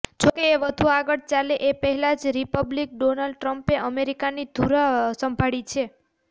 જોકે એ વધુ આગળ ચાલે એ પહેલાં જ રિપબ્લિકન ડોનાલ્ડ ટ્રમ્પે અમેરિકાની ધૂરા સંભાળી છે